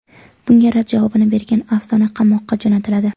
Bunga rad javobini bergan afsona qamoqqa jo‘natiladi.